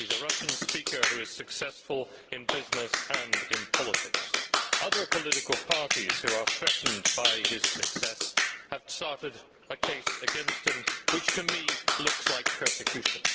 He is a Russian speaker who is successful in business and in politics. Other political parties, who are threatened by his success, have started a case against him, which to me looks like persecution.